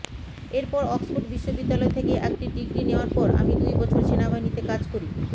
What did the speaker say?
এরপর অক্সফোর্ড বিশ্ববিদ্যালয় থেকে একটি ডিগ্রি নেওয়ার পর আমি দু্ই বছর সেনাবাহিনীতে কাজ করি